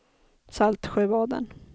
Saltsjöbaden